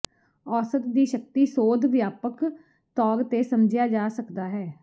ਔਸਤ ਦੀ ਸ਼ਕਤੀ ਸੋਧ ਵਿਆਪਕ ਤੌਰ ਤੇ ਸਮਝਿਆ ਜਾ ਸਕਦਾ ਹੈ